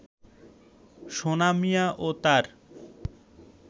সোনা মিয়া ও তার